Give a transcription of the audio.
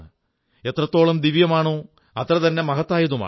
എത്രത്തോളം ദിവ്യമാണോ അത്രതന്നെ മഹത്തായതുമാണ്